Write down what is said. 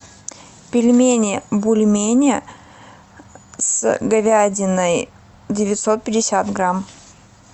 пельмени бульмени с говядиной девятьсот пятьдесят грамм